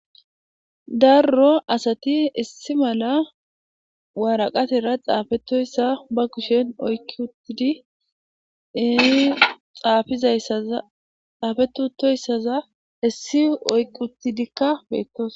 darro asati issi mala waaraqatera xaafetoyssa ba kushen oyki uttidi ii xaafizaazxaafettoyssaza issi oyqi uttidikka beettos